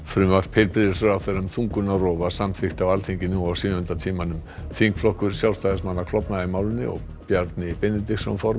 frumvarp heilbrigðisráðherra um þungunarrof var samþykkt á Alþingi nú á sjöunda tímanum þingflokkur Sjálfstæðismanna klofnaði í málinu og Bjarni Benediktsson